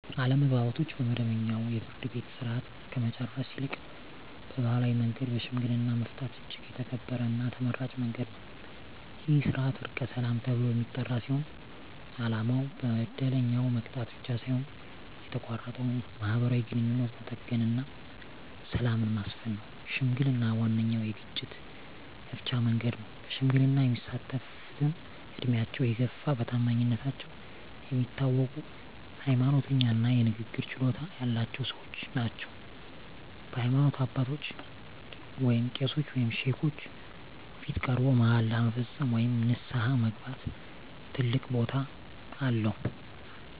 አለመግባባቶችን በመደበኛው የፍርድ ቤት ሥርዓት ከመጨረስ ይልቅ በባሕላዊ መንገድ በሽምግልና መፍታት እጅግ የተከበረና ተመራጭ መንገድ ነው። ይህ ሥርዓት "ዕርቀ ሰላም" ተብሎ የሚጠራ ሲሆን፣ ዓላማው በደለኛውን መቅጣት ብቻ ሳይሆን የተቋረጠውን ማኅበራዊ ግንኙነት መጠገንና ሰላምን ማስፈን ነው። ሽምግልና ዋነኛው የግጭት መፍቻ መንገድ ነው። በሽምግልና የሚሳተፍትም ዕድሜያቸው የገፋ፣ በታማኝነታቸው የሚታወቁ፣ ሃይማኖተኛ እና የንግግር ችሎታ ያላቸው ሰዎች ናቸው። በሃይማኖት አባቶች (ቄሶች ወይም ሼኮች) ፊት ቀርቦ መሃላ መፈጸም ወይም ንስሐ መግባት ትልቅ ቦታ አለው።